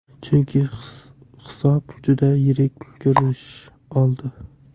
Chunki hisob juda yirik ko‘rinish oldi.